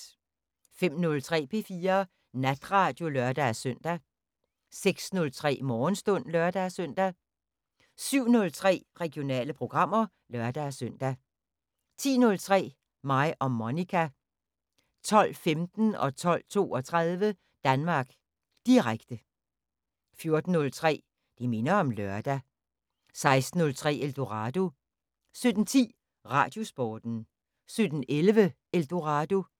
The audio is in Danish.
05:03: P4 Natradio (lør-søn) 06:03: Morgenstund (lør-søn) 07:03: Regionale programmer (lør-søn) 10:03: Mig og Monica 12:15: Danmark Direkte 12:32: Danmark Direkte 14:03: Det minder om lørdag 16:03: Eldorado 17:10: Radiosporten 17:11: Eldorado